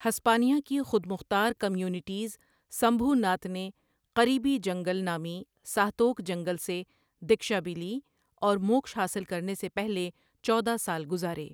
ہسپانیهٔ کی خود مختار کمیونٹیز سمبھوناتھ نے قریبی جنگل نامی ساہتوک جنگل سے دکشا بھی لی اور موکش حاصل کرنے سے پہلے چودا سال گزارے۔